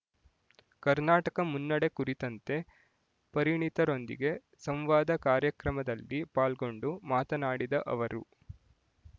ಕರ್ನಾಟಕ ಮುನ್ನಡೆ ಕುರಿತಂತೆ ಪರಿಣಿತರೊಂದಿಗೆ ಸಂವಾದ ಕಾರ್ಯಕ್ರಮದಲ್ಲಿ ಪಾಲ್ಗೊಂಡು ಮಾತನಾಡಿದ ಅವರು